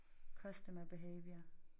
Costumer behaviour